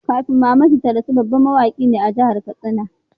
Kafin Mamman Shata ya rasu, babban mawaki ne a jahar katsina